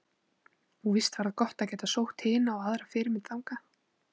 Og víst var það gott að geta sótt hina og aðra fyrirmynd þangað.